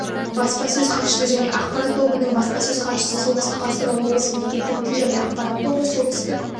баспасөз хатшысы және ақпарат тобының баспасөз хатшысы солтүстік қазақстан облысы мемлекеттік тіл және ақпарат тобы солтүстік